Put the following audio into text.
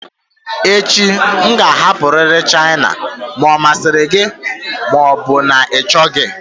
Echi m ga-ahapụrịrị China ma ọ masịrị gị ma ọ bụ na ị chọghị